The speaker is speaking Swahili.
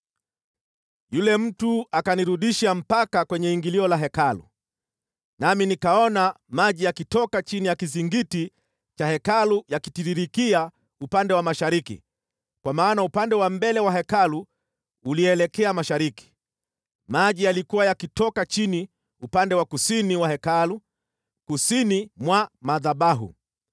Yule mtu akanirudisha mpaka kwenye ingilio la Hekalu, nami nikaona maji yakitoka chini ya kizingiti cha Hekalu yakitiririkia upande wa mashariki (kwa maana upande wa mbele wa Hekalu ulielekea mashariki). Maji yalikuwa yakitoka chini upande wa kusini wa Hekalu, kusini mwa madhabahu.